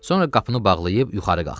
Sonra qapını bağlayıb yuxarı qalxdı.